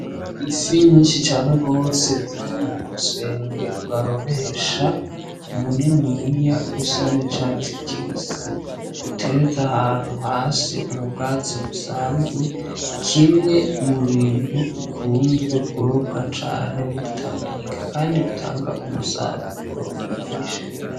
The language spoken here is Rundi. Ifi nyinshi cane gose ziri mumusenge barobesha muniniya usa n'icatsi kibisi uterese ahantu hasi mu bwatsi busanzwe, kimwe mu bintu bikunzwe kurobwa cane muri tanganyika, kandi bitanga umusaruro mwinshi.